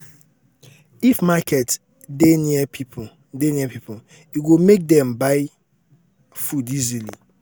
um if market dey near people dey near people e go make dem buy food easily